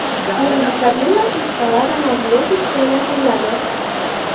Yangi Cadillac Escalada mobil ofisga aylantiriladi.